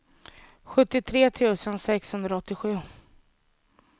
sjuttiotre tusen sexhundraåttiosju